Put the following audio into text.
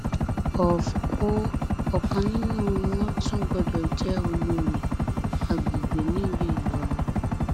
of o ọkan nínú wọn tún gbọdọ jẹ olórí àgbègbè nílùú ìlọrin